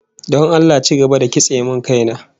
Don Allah ci gaba da kitse min kaina